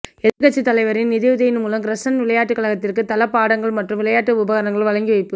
எதிர்க்கட்சித் தலைவரின் நிதியுதவியின் மூலம் கிரசன்ட் விளையாட்டுக் கழகத்திற்கு தளபாடங்கள் மற்றும் விளையாட்டு உபகரணங்கள் வழங்கி வைப்பு